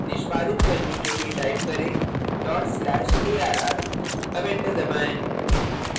निष्पादित करने के लिए type करें dot slash arr arr enter दबाएँ